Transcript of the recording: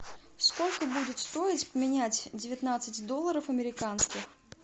сколько будет стоить поменять девятнадцать долларов американских